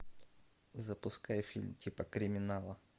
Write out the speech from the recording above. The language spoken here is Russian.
запускай фильм типа криминала